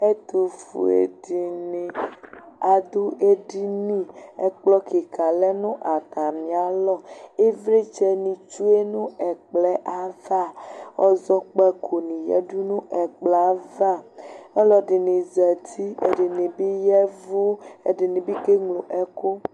Ɛtʋfue dɩnɩ adʋ edini, ɛkplɔ kɩka lɛ nʋ atamɩalɔ Ɩvlɩtsɛnɩ tsue nʋ ɛkplɔ yɛ ava Ɔzɔkpakonɩ yǝdu nʋ ɛkplɔ yɛ ava Ɔlɔdɩnɩ zati, ɛdɩnɩ bɩ ya ɛvʋ, ɛdɩnɩ bɩ keŋlo ɛkʋ